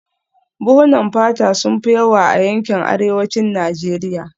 Buhunan fata sun fi yawa a yankin arewacin Najeriya